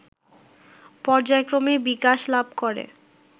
পর্যায়ক্রমে বিকাশ লাভ করে